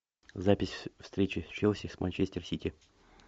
запись встречи челси с манчестер сити